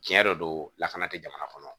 Tiɲɛ yɛrɛ don lakana tɛ jamana kɔnɔ